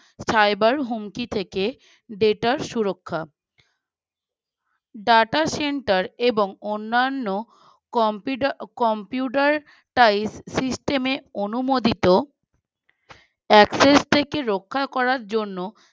data সুরক্ষা data center এবং অন্যান্য compute computer type system এ অনুমোদিত Express থেকে রক্ষা করার জন্য